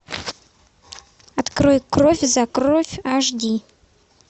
открой кровь за кровь аш ди